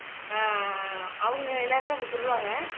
ஆஹ் அவங்க எல்லாருமே அப்படி சொல்லுவாங்க